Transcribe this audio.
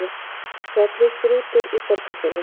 Fjallið Strútur í Borgarfirði.